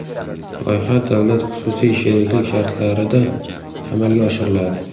Loyiha davlat-xususiy sheriklik shartlarida amalga oshiriladi.